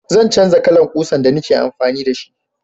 Zan canja kalan ƙusa da ni ke amfani da shi